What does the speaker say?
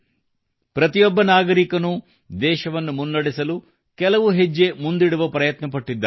ಪ್ರತಿಯೊಬ್ಬ ನಾಗರಿಕನೂ ದೇಶವನ್ನು ಮುನ್ನಡೆಸಲು ಕೆಲವು ಹೆಜ್ಜೆ ಮುಂದಿಡುವ ಪ್ರಯತ್ನ ಪಟ್ಟಿದ್ದಾನೆ